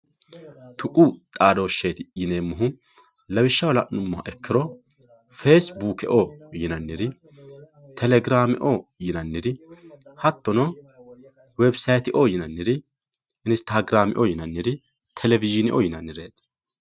tuqu xadosheti yinemohu lawishaho lanumoha ikiro fasibukeo yinaniri telegirameo yinaniri hatono webisateo yinaniri instagrameo yinaniri televizhinneo yinaniretti